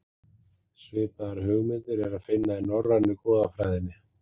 Svipaðar hugmyndir er að finna í norrænu goðafræðinni.